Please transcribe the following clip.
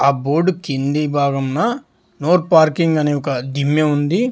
ఆ బోర్డు కింది భాగంన నోర్ పార్కింగ్ అని ఒక దిమ్మె ఉంది.